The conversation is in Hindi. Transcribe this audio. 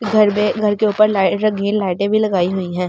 घर मे घर के ऊपर लाइ रंगीन लाईटे भी लगे हुई हैं ।